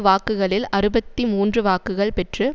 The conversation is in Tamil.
வாக்குகளில் அறுபத்தி மூன்று வாக்குகள் பெற்று